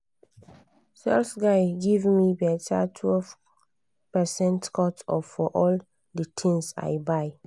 sales guy give me better 12 percent cut off for all the things i buy.